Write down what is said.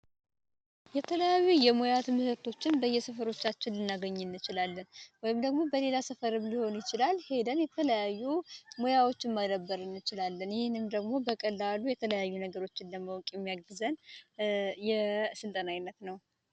የተለያዩ የሙያ ትምህርቶችን በየሰፈቻችን እችላለን ወይም ደግሞ ሊሆን ይችላል ሄደን ይለያዩ ሙያዎችን ደግሞ በቀላሉ የተለያዩ ነገሮችን የሚያግዘን የስልጠና አይነት ነው።